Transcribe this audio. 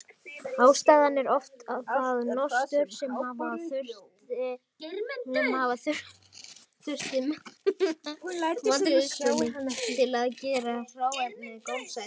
Ástæðan er oft það nostur sem hafa þurfti við matreiðsluna til að gera hráefnið gómsætt.